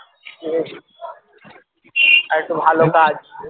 আরেকটু ভালো কাজ